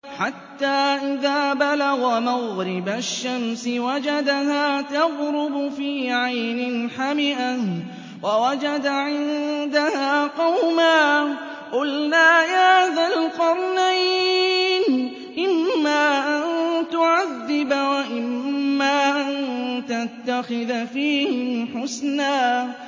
حَتَّىٰ إِذَا بَلَغَ مَغْرِبَ الشَّمْسِ وَجَدَهَا تَغْرُبُ فِي عَيْنٍ حَمِئَةٍ وَوَجَدَ عِندَهَا قَوْمًا ۗ قُلْنَا يَا ذَا الْقَرْنَيْنِ إِمَّا أَن تُعَذِّبَ وَإِمَّا أَن تَتَّخِذَ فِيهِمْ حُسْنًا